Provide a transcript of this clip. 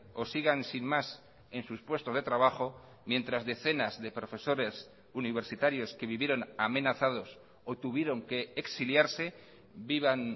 o sigan sin más en sus puestos de trabajo mientras decenas de profesores universitarios que vivieron amenazados o tuvieron que exiliarse vivan